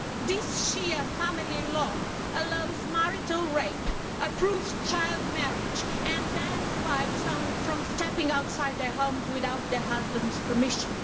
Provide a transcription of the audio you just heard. This Shia family law allows marital rape, approves child marriage and bans wives from stepping outside their homes without their husbands' permission.